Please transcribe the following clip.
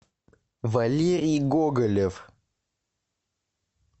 валерий гоголев